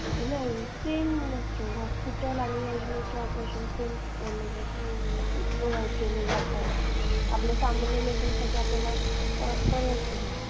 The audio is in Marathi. नाही सेम असते ते. हॉस्पिटलचे आणि योजनेचे ऑपरेशन. सेम प्रोवाईड केले जातात. आपल्याला सामान्य लोकांसाठी आपल्याला परवडते ते.